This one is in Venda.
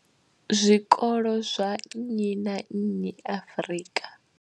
zwikolo zwa nnyi na nnyi Afrika.